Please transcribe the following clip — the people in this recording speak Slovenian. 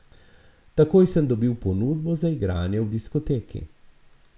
Takoj sem dobil ponudbo za igranje v diskoteki.